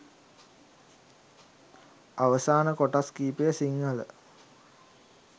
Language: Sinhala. අවසාන කොටස් කීපය සිංහල